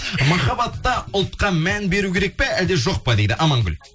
махаббатта ұлтқа мән беру керек па әлде жоқ па дейді амангүл